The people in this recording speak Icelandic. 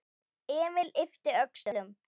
Emil yppti öxlum.